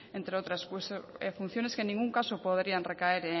entre otras funciones que en ningún caso podrían recaer